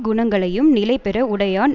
குணங்களையும் நிலை பெற உடையான்